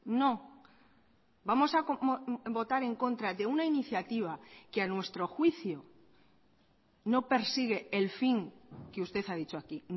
no vamos a votar en contra de una iniciativa que a nuestro juicio no persigue el fin que usted ha dicho aquí